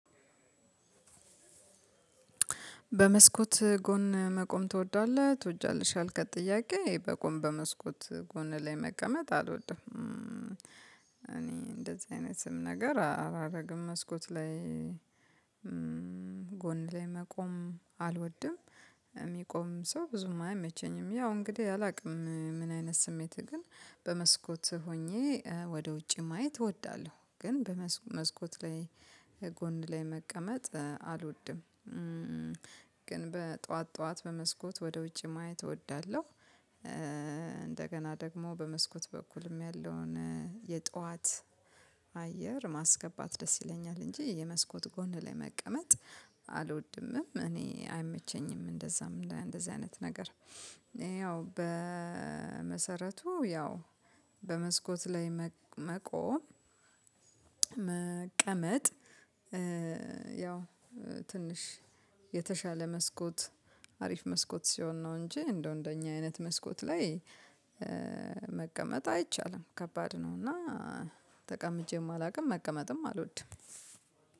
በመስኮት ጎን መቆም ትወዳለህ ትወጃለሽ ያልካት ጥያቄ በቆም በመስኮት ጎን ላይ መቀመጥ አልወድም። እኔ እንደዚህ አይነትም ነገር አላደርግም መስኮት ላይ ጎን ላይ መቆም አልወድም። የሚቆም ሰው ብዙም አይመቸኝም ያው እንግዲህ አላውቅም ምን አይነት ስሜትህ ግን በመስኮትህ ሆኜ ወደ ውጪ ማየት እወዳለሁ። ግን በመስኮት ላይ ጎን ላይ መቀመጥ አልወድም። ግን በጠዋት ጠዋት በመስኮት ወደ ውጪ ማየት እወዳለሁ። እንደገና ደግሞ በመስኮት በኩልም ያለውን የጧት አየር ማስገባት ደስ ይለኛል እንጂ የመስኮት ጎን ላይ መቀመጥ አልወድምም። እኔ አይመቸኝም እንደዛም እንደዚህ አይነት ነገር ያው በመሰረቱ ያው በመስኮት ላይ መቆም። መቀመጥ። ያው ትንሽ የተሻለ መስኮት አሪፍ መስኮት ሲሆን ነው እንጂ እንደው እንደኛ አይነት መስኮት ላይ መቀመጥ አይቻልም ከባድ ነው። እና ተቀምጬም አላቅም መቀመጥም አልወድም።